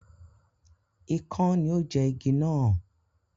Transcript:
Ikán ni ó jẹ igi náà.